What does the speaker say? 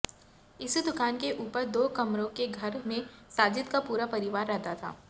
इसी दुकान के ऊपर दो कमरों के घर में साजिद का पूरा परिवार रहता था